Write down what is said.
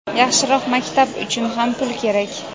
yaxshiroq maktab uchun ham pul kerak.